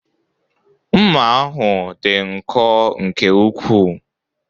Ụma ahụ dị nkọ nke ukwuu